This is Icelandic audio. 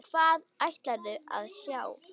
Hvað ætlarðu að sjá?